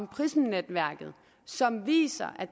prism netværket som viser at